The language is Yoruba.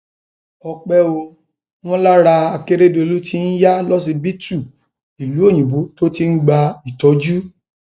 ọpẹ ò wọn lára akérèdólú tí ń ya lọsibítù ìlú òyìnbó tó ti ń gba ìtọjú